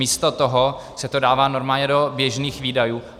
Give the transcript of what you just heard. Místo toho se to dává normálně do běžných výdajů.